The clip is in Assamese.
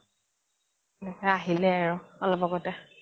আহিলে আৰু অলপ আগতে